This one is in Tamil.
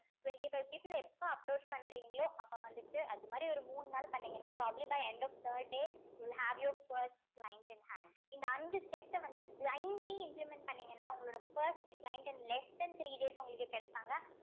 twenty-five people அ எப்போ approach பண்றீங்களோ அப்போ வந்துட்டு அது மாதிரி ஒரு மூணு நாள் பண்ணீங்கன்னா by end of third day will have your first client in hand இந்த அஞ்சு step அ வந்து blindly implement பண்ணீங்கன்னா உங்களோட first client and less and three days உங்களுக்கு கிடைப்பாங்க